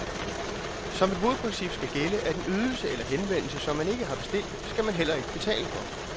Som et hovedprincip skal gælde, at en ydelse eller en henvendelse, som man ikke har bestilt, skal man heller ikke betale for.